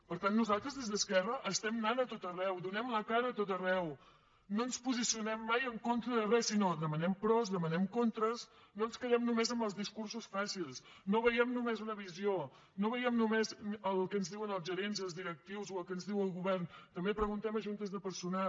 per tant nosaltres des d’esquerra estem anant a tot arreu donem la cara a tot arreu no ens posicionem mai en contra de res sinó que demanem pros demanem contres no ens quedem només amb els discursos fàcils no veiem només una visió no veiem només el que ens diuen els gerents i els directius o el que ens diu el govern també preguntem a juntes de personal